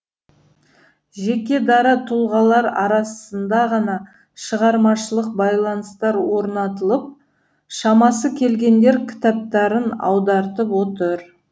жеке дара тұлғалар арасында ғана шығармашылық байланыстар орнатылып шамасы келгендер кітаптарын аудартып отыр